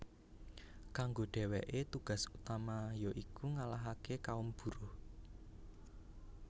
Kanggo dèwèké tugas utama ya iku ngalahaké kaum buruh